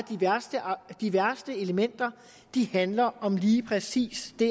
de værste elementer handler om lige præcis de